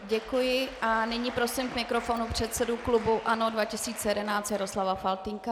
Děkuji a nyní prosím k mikrofonu předsedu klubu ANO 2011 Jaroslava Faltýnka.